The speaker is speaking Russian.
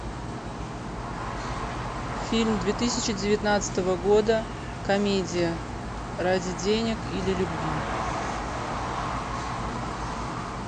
фильм две тысячи девятнадцатого года комедия ради денег или любви